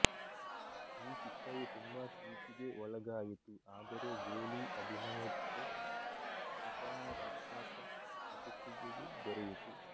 ಈ ಚಿತ್ರವು ತುಂಬಾ ಟೀಕೆಗೆ ಒಳಗಾಯಿತು ಆದರೆ ಜೋಲೀ ಅಭಿನಯಕ್ಕೆ ಸಕಾರತ್ಮಕ ಪ್ರತಿಕ್ರಿಯೆಯು ದೊರೆಯಿತು